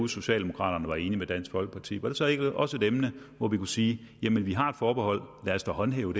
socialdemokraterne var enige med dansk folkeparti var det her så ikke også et emne hvor vi kunne sige jamen vi har et forbehold lad os da håndhæve